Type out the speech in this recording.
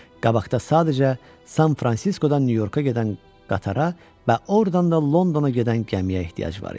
Qabaqda sadəcə San Fransiskodan Nyu-Yorka gedən qatara və ordan da Londona gedən gəmiyə ehtiyac var idi.